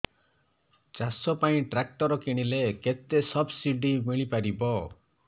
ଚାଷ ପାଇଁ ଟ୍ରାକ୍ଟର କିଣିଲେ କେତେ ସବ୍ସିଡି ମିଳିପାରିବ